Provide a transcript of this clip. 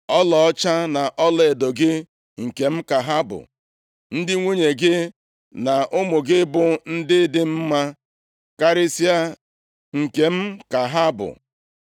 ‘Ọlaọcha na ọlaedo gị, nkem ka ha bụ, ndị nwunye gị na ụmụ gị, bụ ndị dị mma karịsịa nke m ka ha bụ.’ ”